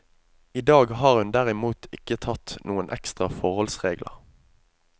I dag har hun derimot ikke tatt noen ekstra forholdsregler.